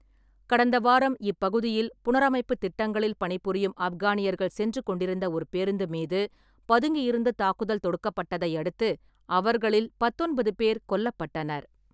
கடந்த வாரம் இப்பகுதியில் புனரமைப்புத் திட்டங்களில் பணிபுரியும் ஆப்கானியர்கள் சென்று கொண்டிருந்த ஒரு பேருந்து மீது பதுங்கியிருந்து தாக்குதல் தொடுக்கப்பட்டதை அடுத்து அவர்களில் பத்தொன்பதுபேர் கொல்லப்பட்டனர்.